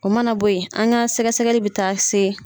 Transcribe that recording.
O mana bo ye an ka sɛgɛ sɛgɛli bɛ taa se